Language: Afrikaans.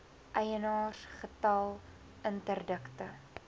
eienaars getal interdikte